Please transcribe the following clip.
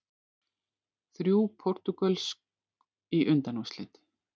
Þrjú portúgölsk í undanúrslit